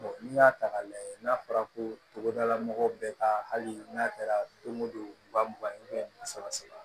n'i y'a ta k'a lajɛ n'a fɔra ko togodala mɔgɔw bɛ ka hali n'a kɛra don o don wa mugan saba saba